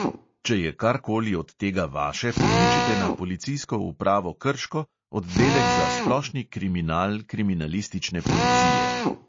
Če je kar koli od tega vaše, pokličite na policijsko upravo krško, oddelek za splošni kriminal kriminalistične policije.